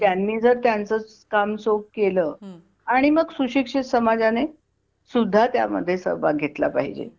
त्यांनी जर त्यांच काम चोख केलं आणि मग सुशिक्षित समाज ने सुद्धा त्या मध्ये सहभाग घेतला पाहिजे